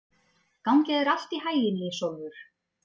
Gangi þér allt í haginn, Ísólfur.